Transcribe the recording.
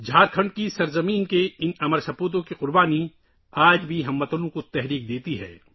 جھارکھنڈ کی سرزمین کے ان لازوال فرزندوں کی قربانی آج بھی اہل وطن کو متاثر کرتی ہے